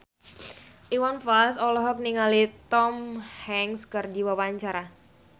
Iwan Fals olohok ningali Tom Hanks keur diwawancara